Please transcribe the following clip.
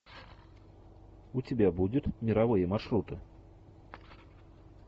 у тебя будет мировые маршруты